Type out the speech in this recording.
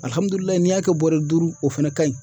AlihamdullilayI n'i y'a Kɛ bɔrɛ duuru o fana ka ɲi